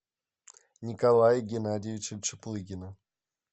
николая геннадьевича чаплыгина